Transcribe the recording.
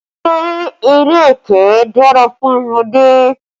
Ṣé eré ẹkẹ dára fún ọmọdé?